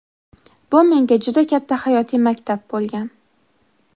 Bu menga juda katta hayotiy maktab bo‘lgan.